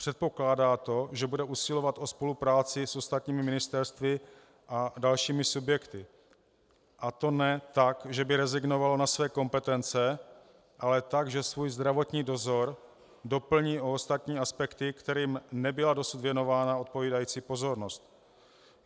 Předpokládá to, že bude usilovat o spolupráci s ostatními ministerstvy a dalšími subjekty, a to ne tak, že by rezignovalo na své kompetence, ale tak, že svůj zdravotní dozor doplní o ostatní aspekty, kterým nebyla dosud věnována odpovídající pozornost.